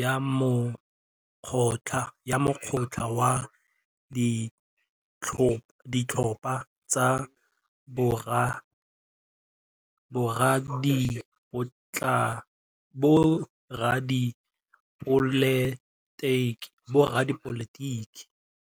ya mokgatlhô wa ditlhopha tsa boradipolotiki.